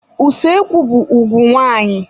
Usoekwu be ùgwù nwaanyị.